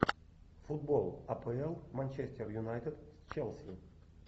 футбол апл манчестер юнайтед с челси